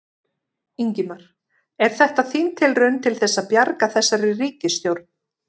Ingimar: Er þetta þín tilraun til þess að bjarga þessari ríkisstjórn?